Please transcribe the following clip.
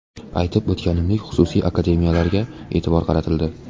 Aytib o‘tganimdek, xususiy akademiyalarga e’tibor qaratildi.